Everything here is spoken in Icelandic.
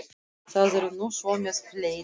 Það er nú svo með fleiri.